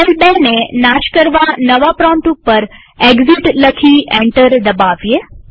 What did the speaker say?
shell ૨ ને નાશ કરવા નવા પ્રોમ્પ્ટ ઉપર એક્સિટ લખી એન્ટર દબાવીએ